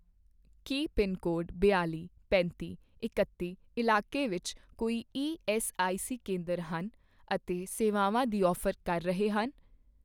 ਕੀ pincode ਬਿਆਲ਼ੀ, ਪੈਂਤੀ, ਇਕੱਤੀ ਇਲਾਕੇ ਵਿੱਚ ਕੋਈ ਈਐੱਸਆਈਸੀ ਕੇਂਦਰ ਹਨ ਅਤੇ ਸੇਵਾਵਾਂ ਦੀ ਔਫ਼ਰ ਕਰ ਰਹੇ ਹਨ?